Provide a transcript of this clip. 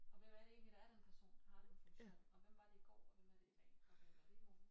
Og hvem er det egentlig der er den person der har den funktion og hvem var det i går og hvem er det i dag og hvem er det i morgen